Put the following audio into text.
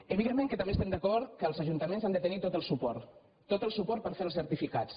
evidentment que també estem d’acord amb el fet que els ajuntaments han de tenir tot el suport tot el su·port per fer els certificats